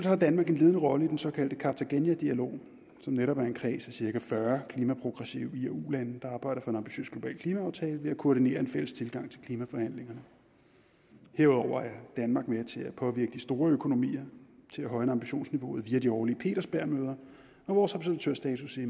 har danmark en ledende rolle i den såkaldte cartagenadialog som netop er en kreds af cirka fyrre klimaprogressive i og ulande der arbejder for en ambitiøs global klimaaftale ved at koordinere en fælles tilgang til klimaforhandlingerne herudover er danmark med til at påvirke de store økonomier til at højne ambitionsniveauet via de årlige petersbergmøder og vores observatørstatus i